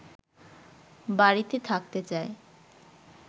বাড়িতে থাকতে চায়